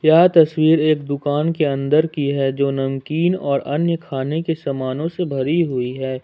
यह तस्वीर एक दुकान के अंदर की है जो नमकीन और अन्य खाने के सामानों से भरी हुई है।